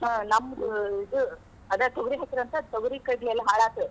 ಹ್ಮ್‌ ನಮ್ದ್ ಇದ್ ಅದ್ ತೋಗರಿ ಹಾಕಿದ್ರಂತ ತೊಗರಿ ಕಡ್ಲಿ ಎಲ್ಲಾ ಹಾಳಾತ್.